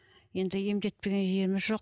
енді емдетпеген жеріміз жоқ